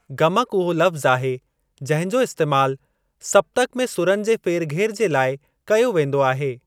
गमक उहो लफ़्ज़ आहे जिंहिं जो इस्तैमाल सप्तक में सुरनि जे फेरघेर जे लाइ कयो वेंदो आहे।